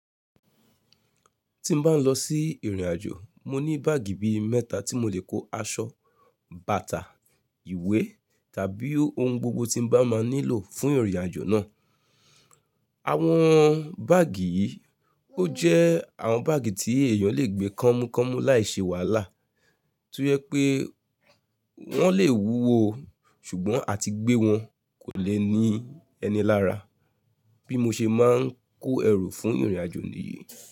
Tí mo bá ń lọ sí ìrìn ajò, mo ní báàgì bi mẹ́ta tí mo lè kó aṣọ, bàtà, ìwé tàbí ohun gbogbo tí n bá máa nílò fún ìrìnàjò náà. Àwọn báàgì yìí ó jẹ́ àwọn báàgì tí èèyàn lè gbé kọ́múkọ́mú láìṣe wàhálà, to jé pé wọ́n lè wúwo o, ṣùgbọ́n àti gbé wọn kò lè ní ẹni lára bí mo ṣe máa ń kó ẹrù fún ìrìnàjò mi.